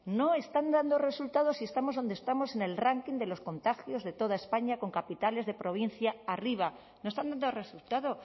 no están dando resultados y estamos donde estamos en el ranking de los contagios de toda españa con capitales de provincia arriba no están dando resultado